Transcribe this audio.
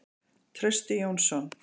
Trausti Jónsson.